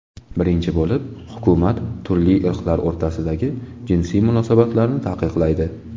Birinchi bo‘lib, hukumat turli irqlar o‘rtasidagi jinsiy munosabatlarni taqiqlaydi.